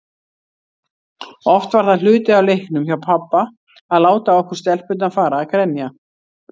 Oft var það hluti af leiknum hjá pabba að láta okkur stelpurnar fara að grenja.